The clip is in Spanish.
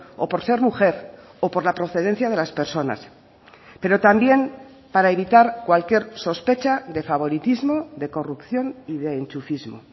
o por ser mujer o por la procedencia de las personas pero también para evitar cualquier sospecha de favoritismo de corrupción y de enchufismo